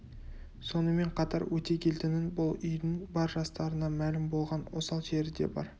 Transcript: сонымен қатар өтегелдінің бұл үйдің бар жастарына мәлім болған осал жері де бар